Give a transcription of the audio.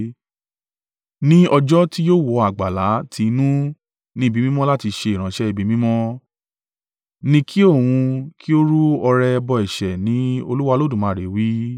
Ní ọjọ́ ti yóò wọ àgbàlá ti inú ni ibi mímọ́ láti ṣe ìránṣẹ́ ibi mímọ́, ni kí òun kí ó rú ọrẹ ẹbọ ẹ̀ṣẹ̀ ni Olúwa Olódùmarè wí.